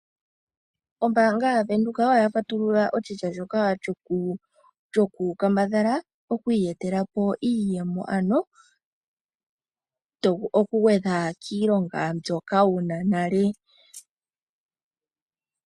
Ombaanga ya Venduka oya patulula oshilyo shoka kambadhala oku iyetelapo iiyemo ,ano tovulu oku gwedja kiilonga mbyoka wuna nale.